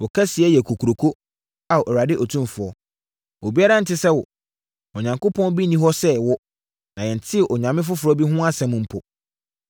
“Wo kɛseyɛ yɛ kokuroo, Ao Awurade Otumfoɔ! Obi biara nte sɛ wo, Onyankopɔn bi nni hɔ sɛ wo, na yɛntee onyame foforɔ bi mpo ho asɛm!